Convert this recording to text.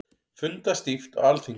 Fundað stíft á Alþingi